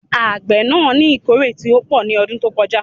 Àgbé náà ní ìkórè tí ó pò ní ọdún tó kọ já